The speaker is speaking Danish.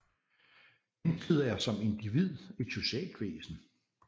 Mennesket er som individ et socialt væsen